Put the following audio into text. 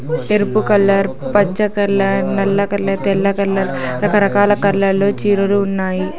ఎరుపు కలర్ పచ్చ కలర్ నల్ల కలర్ తెల్ల కలర్ రకరకాల కలర్ లో చీరలు ఉన్నాయి.